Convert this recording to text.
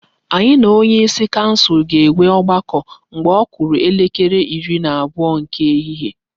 Anyị na onyeisi kansụl ga-enwe ọgbakọ mgbe ọ kụrụ elekere iri na abụọ nke ehihie.